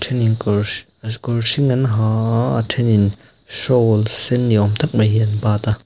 kawr hring an ha a a then in shoul sen niawm tak mai hi an bat a--